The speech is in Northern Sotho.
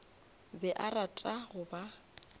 be a rata go ba